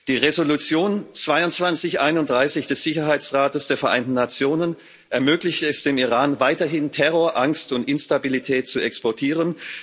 Die Resolution 2231 des Sicherheitsrates der Vereinten Nationen ermöglicht es dem Iran weiterhin, Terrorangst und Instabilität zu exportieren.